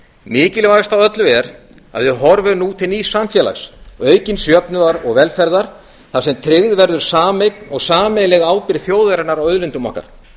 mikilvægast af öllu er að við horfum nú til nýs samfélags aukins jöfnuðar og velferðar þar sem tryggð verður sameign og sameiginleg ábyrgð þjóðarinnar á auðlindum okkar